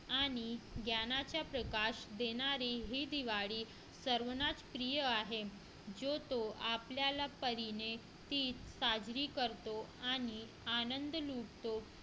आणि ज्ञानाचा प्रकाश देणारी ही दिवाळी सर्वांना प्रिय आहे जो तो आपल्या परीने साजरी करतो आनंद लुटतो